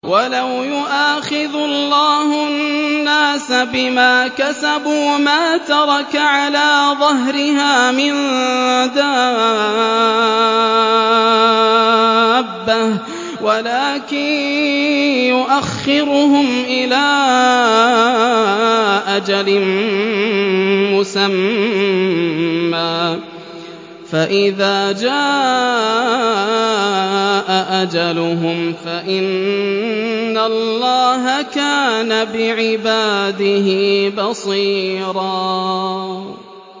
وَلَوْ يُؤَاخِذُ اللَّهُ النَّاسَ بِمَا كَسَبُوا مَا تَرَكَ عَلَىٰ ظَهْرِهَا مِن دَابَّةٍ وَلَٰكِن يُؤَخِّرُهُمْ إِلَىٰ أَجَلٍ مُّسَمًّى ۖ فَإِذَا جَاءَ أَجَلُهُمْ فَإِنَّ اللَّهَ كَانَ بِعِبَادِهِ بَصِيرًا